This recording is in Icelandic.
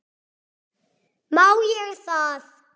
Má ég það?